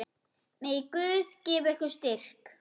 Megi Guð gefa ykkur styrk.